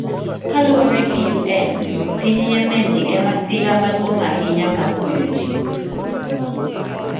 Kaluwore gi UN, piny Yemen ni e masira maduong’ ahinya mar konyo ji